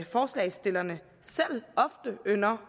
forslagsstillerne selv ofte ynder